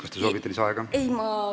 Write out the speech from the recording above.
Kas te soovite lisaaega?